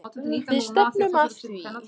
Við stefnum að því.